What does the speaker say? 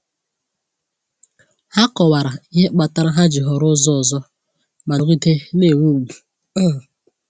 Ha kọwara ihe kpatara ha ji họrọ ụzọ ọzọ, ma nọgide na-enwe ùgwù. um